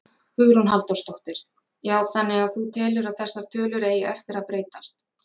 Hugrún Halldórsdóttir: Já þannig að þú telur að þessar tölur eigi eftir að breytast?